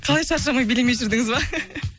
қалай шаршамай билемей жүрдіңіз ба